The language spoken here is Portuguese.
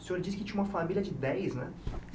O senhor disse que tinha uma família de dez, né?